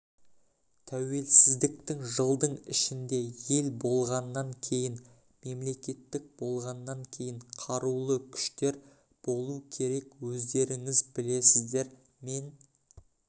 тәуелсіздіктің жылдың ішінде ел болғаннан кейін мемлекет болғаннан кейін қарулы күштер болу керек өздеріңіз білесіздер мен